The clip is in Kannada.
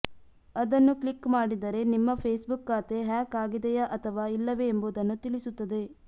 ಅದನ್ನು ಕ್ಲಿಕ್ ಮಾಡಿದರೆ ನಿಮ್ಮ ಫೇಸ್ಬುಕ್ ಖಾತೆ ಹ್ಯಾಕ್ ಆಗಿದೆಯಾ ಅಥವಾ ಇಲ್ಲವೆ ಎಂಬುದನ್ನು ತಿಳಿಸುತ್ತದೆ